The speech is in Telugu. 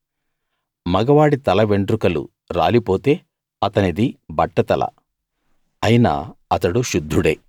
మగవాడి తల వెంట్రుకలు రాలిపోతే అతనిది బట్టతల అయినా అతడు శుద్ధుడే